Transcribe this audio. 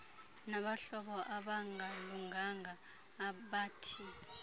nabahlobo abangalunganga abathi